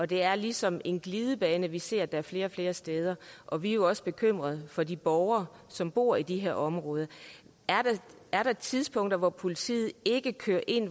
det er ligesom en glidebane vi ser flere og flere steder og vi er jo også bekymret for de borgere som bor i de her områder er der tidspunkter hvor politiet ikke kører ind